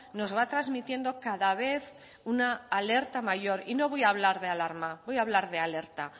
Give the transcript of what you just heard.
nos va transmitiendo cada vez una alerta mayor y no voy a hablar de alarma voy a hablar de alerta